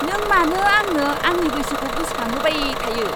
नों मानो आंनो आंनि बैसोखौ गोसोखांहोबाय थायो!